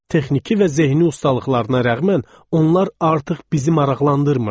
Texniki və zehni ustalıqlarına rəğmən onlar artıq bizi maraqlandırmırdı.